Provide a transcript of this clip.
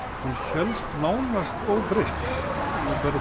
hélst nánast óbreytt